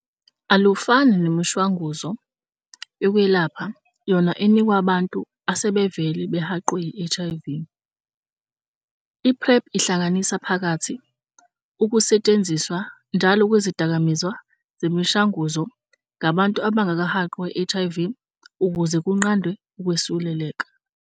Alufani nemishanguzo yokwelapha yona enikwa abantu asebevele behaqwe yi-HIV, i-PrEP ihlanganisa phakathi ukusetshenziswa njalo kwezidakamizwa zemishanguzo ngabantu abangakahaqwa yi-HIV ukuze kunqandwe ukwesuleleka.